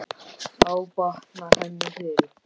Þá batnar henni fyrr.